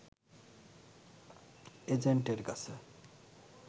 এজেন্টের কাছে